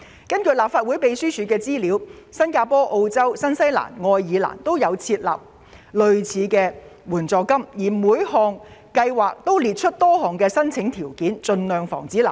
根據立法會秘書處提供的資料，新加坡、澳洲、新西蘭及愛爾蘭均設有類似的援助金，而各地的援助計劃皆會列明申請條件，盡量防止濫用。